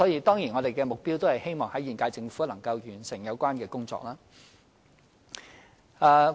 當然，我們的目標也是希望在現屆政府任期內完成有關工作。